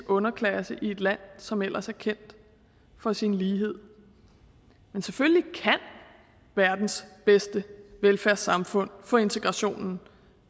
underklasse i et land som ellers er kendt for sin lighed men selvfølgelig kan verdens bedste velfærdssamfund få integrationen